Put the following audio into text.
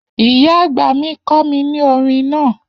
Iya agba mi kọ mi ni orin naa.